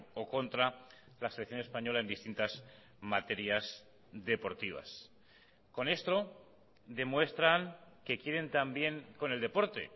o contra la selección española en distintas materias deportivas con esto demuestran que quieren también con el deporte